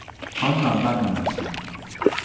Hanna Benjaminsen